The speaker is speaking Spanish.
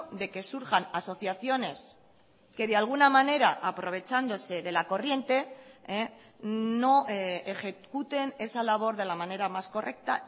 de que surjan asociaciones que de alguna manera aprovechándose de la corriente no ejecuten esa labor de la manera más correcta